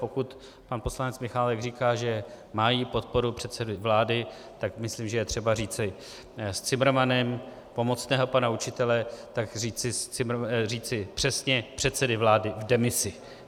Pokud pan poslanec Michálek říká, že mají podporu předsedy vlády, tak myslím, že je třeba říci s Cimrmanem, pomocného pana učitele, tak říci přesně: předsedy vlády v demisi.